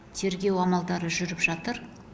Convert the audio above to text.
тергеу амалдары жүріп жатыр